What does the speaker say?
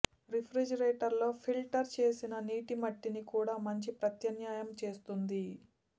రిఫ్రిజిరేటర్లో filter చేసిన నీటి మట్టిని కూడా మంచి ప్రత్యామ్నాయం చేస్తుంది